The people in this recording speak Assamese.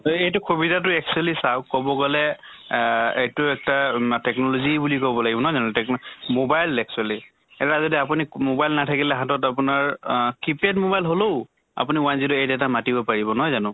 এইটো সুবিধা টো চাওঁক actually কʼব গʼলে আহ এইটো এটা মা technology বুলি কʼব লাগিব, নহয় জানো? techno mobile actually যদি আপুনি mobile নাথাকিলে হাতত আপোনাৰ আহ key pad mobile হলেও আপুনি one zero eight এটা মাতিব পাৰিব, নহয় জানো?